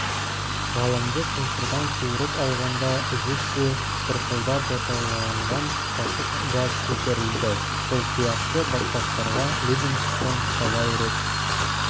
ғалымды шұңқырдан суырып алғанда ізінше бұрқылдап отауланған сасық газ көтерілді бұл сияқты батпақтарға ливингстон талай рет